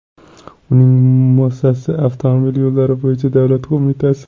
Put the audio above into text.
Uning muassisi avtomobil yo‘llari bo‘yicha davlat qo‘mitasi.